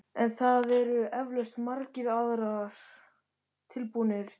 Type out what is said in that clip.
En það eru eflaust margir aðrir tilbúnir til þess.